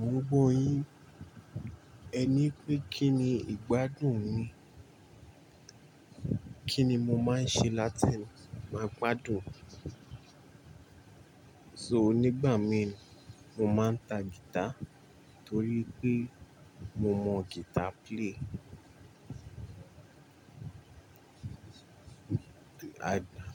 Gbogbo yin, ẹ ní pé kí ni ìgbádùn ni, kí ni mo máa ń ṣe láti máa gbádùn. So nígbà mí, mo máa ń ta guitar torí pé mo mọ guitar play.